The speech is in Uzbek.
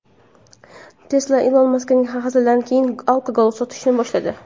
Tesla Ilon Maskning hazilidan keyin alkogol sotishni boshladi.